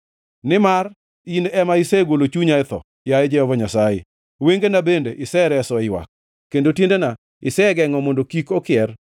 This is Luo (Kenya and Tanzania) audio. Nimar in ema isegolo chunya e tho, yaye Jehova Nyasaye, wengena bende isereso e ywak, kendo tiendena isegengʼo mondo kik okier,